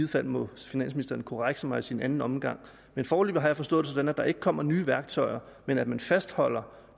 fald må finansministeren korrekse mig i sin anden omgang men foreløbig har jeg forstået det sådan at der ikke kommer nye værktøjer men at man fastholder